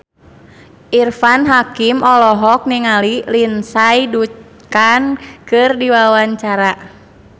Irfan Hakim olohok ningali Lindsay Ducan keur diwawancara